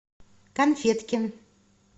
конфеткин